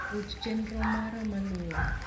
ruch chenromara maluwe